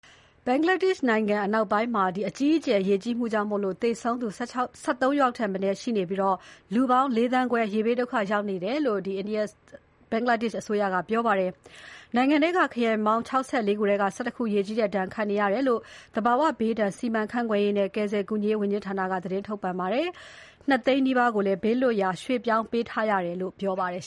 ဘင်္ဂလားဒေရှ့်နိုင်ငံ အနောက်ပိုင်းမှာ အကြီးအကျယ် ရေကြီးမှုကြောင့် သေဆုံးသူ ၁၃ ယောက်ထက်မနည်းရှိနေပြီး လူပေါင်း ၄ သန်းခွဲ ရေဘေးဒုက္ခရောက်နေကြတယ်လို့ အစိုးရက ပြောပါတယ်။ နိုင်ငံထဲက ခရိုင်ပေါင်း ၆၄ ခုထဲက ၁၁ ခုရေကြီးတဲ့ဒဏ်ခံနေရတယ်လို့ သဘာဝဘေးဒဏ် စီမံခန့် ခွဲရေးနဲ့ ကယ်ဆယ် ကူညီရေးဝန်ကြီးဌာနက သတင်းထုတ်ပြန်ပါတယ်။ ၂ သိန်းနီးပါးကိုလည်း ဘေးလွတ်ရာ ပြောင်းရွှေ့ပေးထားတယ်လို့ ပြောပါတယ်